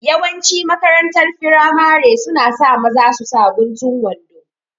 Yawanci makarantar firamare suna sa maza su saka guntun wando